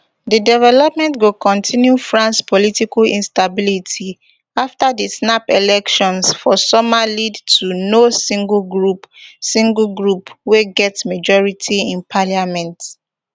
di development go kontinu france political instability afta di snap elections for summer lead to no single group single group wey get majority in parliament